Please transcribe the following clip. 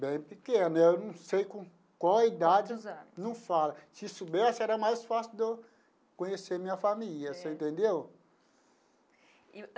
Bem pequeno, eu não sei com qual idade. Com quantos anos. Não fala. Se soubesse era mais fácil de eu conhecer minha família, você entendeu?